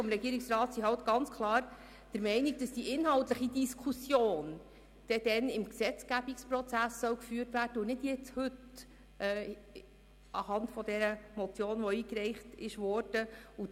Der Regierungsrat ist klar der Meinung, dass die inhaltliche Diskussion später im Gesetzgebungsprozess und nicht heute anhand der eingereichten Motion geführt werden soll.